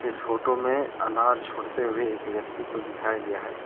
इस फोटो में अनार छोड़ते हुए एक व्यक्ति को दिखाया गया है।